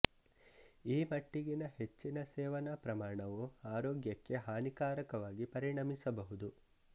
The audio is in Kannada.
ಈ ಮಟ್ಟಿಗಿನ ಹೆಚ್ಚಿನ ಸೇವನಾ ಪ್ರಮಾಣವು ಆರೋಗ್ಯಕ್ಕೆ ಹಾನಿಕಾರಕವಾಗಿ ಪರಿಣಮಿಸಬಹುದು